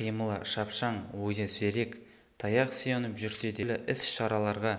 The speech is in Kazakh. қимылы шапшаң ойы зерек таяқ сүйеніп жүрсе де түрлі-іс-шараларға